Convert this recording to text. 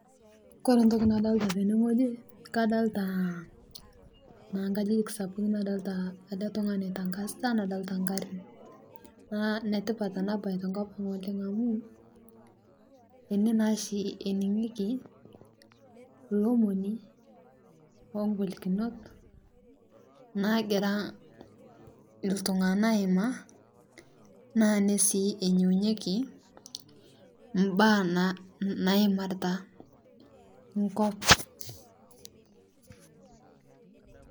Ore entoki nadolita tene wueji naa kadolita naa nkajijik sapukin nadolita oltungani oitangasita nadolita ingharn naa inetipata kuna tokiting tenkop amu ene naa ishi eningieki ilomoni oo ngolikinot naagira iltunganak aimaa naa ene sii eningieki imbaa naimarita enkop